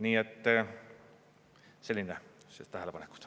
Nii et sellised tähelepanekud.